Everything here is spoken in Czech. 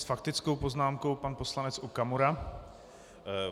S faktickou poznámkou pan poslanec Okamura.